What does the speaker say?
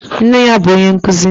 Nne ya bụ onye nkuzi.